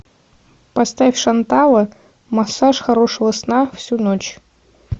поставь шантала массаж хорошего сна всю ночь